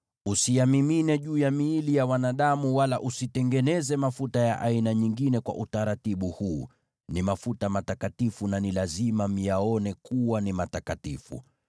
Usiyamimine juu ya miili ya wanadamu wala usitengeneze mafuta ya aina nyingine kwa utaratibu huu. Ni mafuta matakatifu na ni lazima myaone kuwa ni matakatifu.